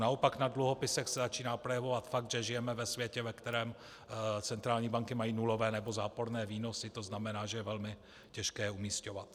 Naopak na dluhopisech se začíná projevovat fakt, že žijeme ve světě, ve kterém centrální banky mají nulové nebo záporné výnosy, to znamená, že je velmi těžké je umísťovat.